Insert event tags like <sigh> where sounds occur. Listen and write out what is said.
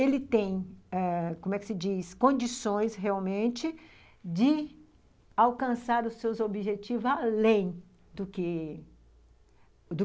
Ele tem ãh condições realmente de alcançar os seus objetivos além do que. <unintelligible>